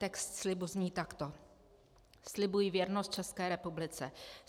Text slibu zní takto: Slibuji věrnost České republice.